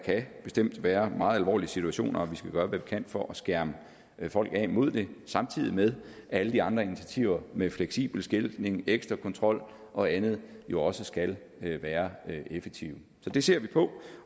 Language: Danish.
bestemt kan være meget alvorlige situationer og vi skal gøre hvad vi kan for at skærme folk af mod det samtidig med at alle de andre initiativer med fleksibel skiltning ekstra kontrol og andet jo også skal være effektive så det ser vi på